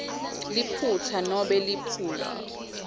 liphutsa nobe liphuzu